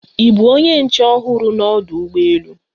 Ị bụ onye nche ọhụrụ na ọdụ ụgbọ elu